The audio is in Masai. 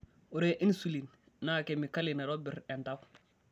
Ore inusilin naa kemikali naitobir entau .